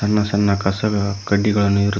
ಸಣ್ಣ ಸಣ್ಣ ಕಸದ ಕಡ್ಡಿಗಳನ್ನು ಇರು--